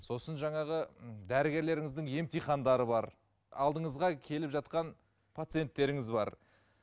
сосын жаңағы м дәрігерлеріңіздің емтихандары бар алдыңызға келіп жатқан пациенттеріңіз бар